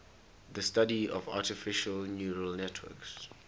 the study of artificial neural networks